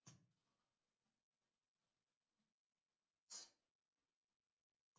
Þá er bara að læra það!